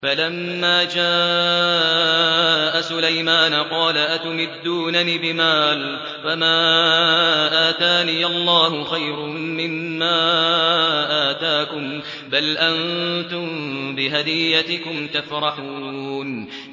فَلَمَّا جَاءَ سُلَيْمَانَ قَالَ أَتُمِدُّونَنِ بِمَالٍ فَمَا آتَانِيَ اللَّهُ خَيْرٌ مِّمَّا آتَاكُم بَلْ أَنتُم بِهَدِيَّتِكُمْ تَفْرَحُونَ